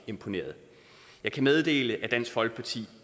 imponeret jeg kan meddele at dansk folkeparti